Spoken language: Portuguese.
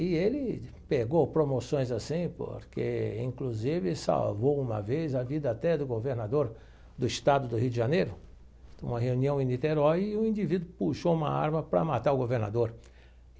E ele pegou promoções assim porque, inclusive, salvou uma vez a vida até do governador do estado do Rio de Janeiro, numa reunião em Niterói, e o indivíduo puxou uma arma para matar o governador.